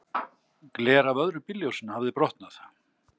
Gler af öðru bílljósinu hafði brotnað.